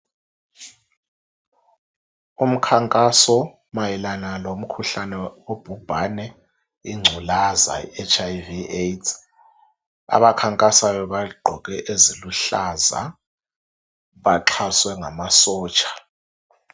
Umkhankaso mayelana lomkhuhlane obhubhane, inculaza HIV AIDS abakhankasa begqoke eziluhlaza baxhaswe ngamasotsha.